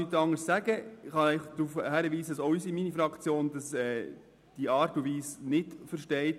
Ich kann einfach darauf hinweisen, dass meine Fraktion die Art und Weise nicht versteht.